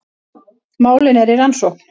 Málin eru í rannsókn